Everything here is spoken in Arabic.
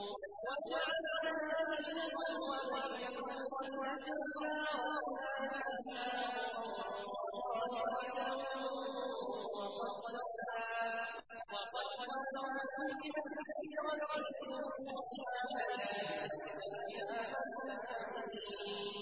وَجَعَلْنَا بَيْنَهُمْ وَبَيْنَ الْقُرَى الَّتِي بَارَكْنَا فِيهَا قُرًى ظَاهِرَةً وَقَدَّرْنَا فِيهَا السَّيْرَ ۖ سِيرُوا فِيهَا لَيَالِيَ وَأَيَّامًا آمِنِينَ